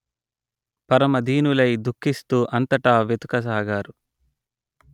పరమ దీనులై దుఃఖిస్తూ అంతటా వెదుకసాగారు